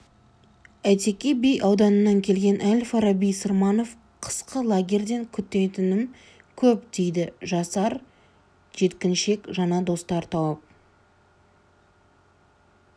әйтеке би ауданынан келген әл-фараби сырманов қысқы лагерьден күтетінім көп дейді жасар жеткіншек жаңа достар тауып